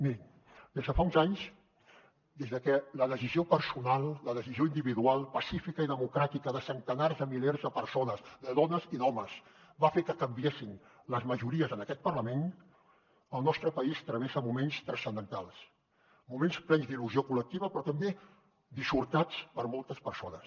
mirin des de fa uns anys des de que la decisió personal la decisió individual pacífica i democràtica de centenars de milers de persones de dones i d’homes va fer que canviessin les majories en aquest parlament el nostre país travessa moments transcendentals moments plens d’il·lusió col·lectiva però també dissortats per a moltes persones